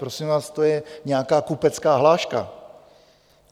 Prosím vás, to je nějaká kupecká hláška.